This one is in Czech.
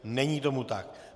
Není tomu tak.